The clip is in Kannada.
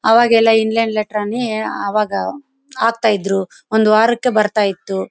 ಅವೆಲ್ಲ ಇಂಗ್ಲೆಂಡ್ ಲೆಟರ್ ಅನ್ನೆ ಅವಾಗ ಹಾಕ್ತಾಯಿದ್ರು ಒಂದು ವಾರಕ್ಕೆ ಬರ್ತಾಇತ್ತು.